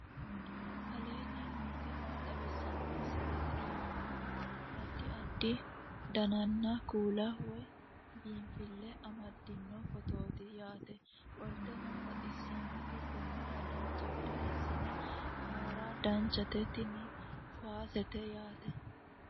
aleenni nooti maa xawisanno misileeti yinummoro addi addi dananna kuula woy biinsille amaddino footooti yaate qoltenno baxissannote konnira dancha gede assine haara danchate tini kuwaasete yaate